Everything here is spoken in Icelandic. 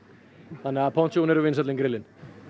þannig að eru vinsælli en grillin